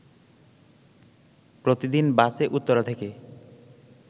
প্রতিদিন বাসে উত্তরা থেকে